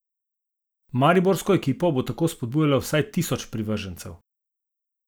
Mariborsko ekipo bo tako spodbujalo vsaj tisoč privržencev.